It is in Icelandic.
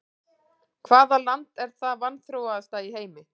Hvaða land er það vanþróaðasta í heimi?